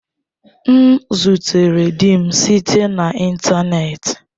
M zutere di m site na ịntanetị.